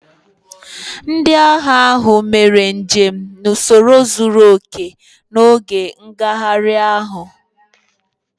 Ndị agha ahụ mere njem n'usoro zuru oke n'oge ngagharị ahụ